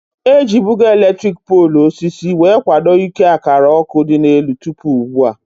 Ejibugo elektriki poolu osisi wee kwado ike akara ọkụ dị n'elu tụpụ ugbua